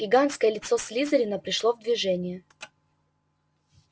гигантское лицо слизерина пришло в движение